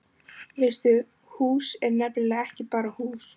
Veistu, hús er nefnilega ekki bara hús.